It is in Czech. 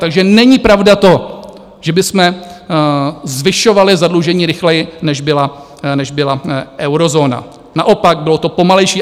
Takže není pravda to, že bychom zvyšovali zadlužení rychleji, než byla eurozóna, naopak, bylo to pomalejší.